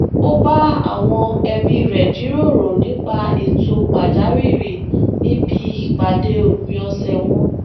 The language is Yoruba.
ó bá awọn ẹbi rẹ jiroro nípa ètò pàjáwìrì nibi ipade ópin ọsẹ wọn